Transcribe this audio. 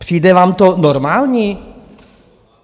Přijde vám to normální?